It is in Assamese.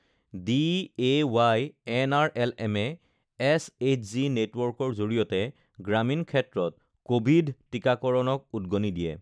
ডিএৱাই এনআৰএলএমে এছএইচজি নেটৱৰ্কৰ জৰিয়তে গ্ৰামীণ ক্ষেত্ৰত কোভিড টিকাকৰণক উদগণি দিয়ে